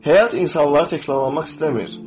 Həyat insanları təkrarlamaq istəmir.